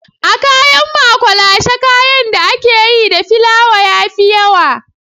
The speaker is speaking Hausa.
A kayan makwalashe kayan da ake yi da filawa ya fi yawa